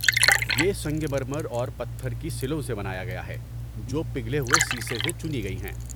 یہ سنگ مرمر اور پتھر کی سلوں سے بنایا گیا ہے، جو پگھلے ہوئے سیسہ سے چنی گئی ہیں۔